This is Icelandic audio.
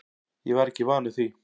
Ég var ekki vanur því.